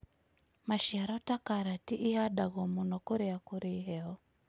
Maciaro ta karati ihandagwo mũno kũrĩa kũrĩ heho.